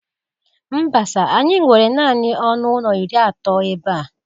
Mba sir, anyị nwere naanị ọnụ ụlọ iri atọ ebe a.